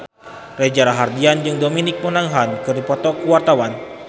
Reza Rahardian jeung Dominic Monaghan keur dipoto ku wartawan